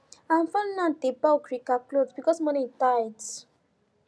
our family now dey buy okirika cloth because money tight